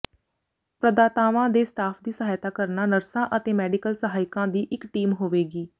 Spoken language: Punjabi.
ਪ੍ਰਦਾਤਾਵਾਂ ਦੇ ਸਟਾਫ ਦੀ ਸਹਾਇਤਾ ਕਰਨਾ ਨਰਸਾਂ ਅਤੇ ਮੈਡੀਕਲ ਸਹਾਇਕਾਂ ਦੀ ਇੱਕ ਟੀਮ ਹੋਵੇਗੀ